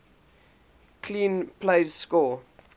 clean plays score